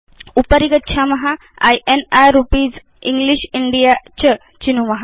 उपरि गच्छाम in rupees English India च चिनुम